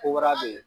Ko wɛrɛ be yen